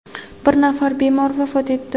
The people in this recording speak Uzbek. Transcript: bir nafar bemor vafot etdi.